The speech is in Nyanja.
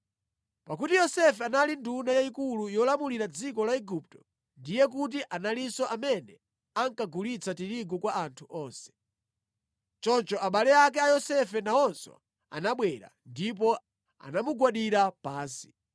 Pakuti Yosefe anali nduna yayikulu yolamulira dziko la Igupto, ndiye kuti analinso amene ankagulitsa tirigu kwa anthu onse. Choncho abale ake a Yosefe nawonso anabwera, ndipo anamugwadira pansi.